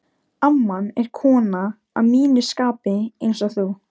amman er kona að mínu skapi, einsog þú.